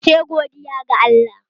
Sai godiya ga Allah